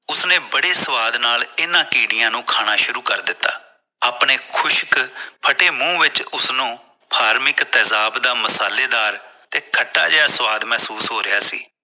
ਉਸਨੇ ਬੜੇ ਸਵਾਦ ਨਾਲ ਇਹਨਾਂ ਕੀੜਿਆਂ ਨੂੰ ਖਾਣਾ ਸ਼ੁਰੂ ਕਰ ਦਿੱਤਾ ਆਪਣੇ ਖੁਸ਼ਕ ਫੱਟੇ ਮੂੰਹ ਵਿੱਚ ਉਸਨੂੰ ਫਾਰਮਿਕ ਤੇਜ਼ਾਬ ਦਾ ਮਸਾਲੇਦਾਰ ਤੇ ਖੱਟਾ ਜਿਹਾ ਸਵਾਦ ਮਹਿਸੂਸ ਹੋ ਰਿਹਾ ਸੀ